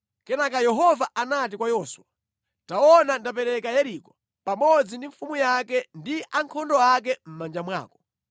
Kenaka Yehova anati kwa Yoswa, “Taona ndapereka Yeriko, pamodzi ndi mfumu yake ndi ankhondo ake mʼmanja mwako.